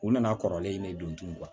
U nana kɔrɔlen in ne don tubabu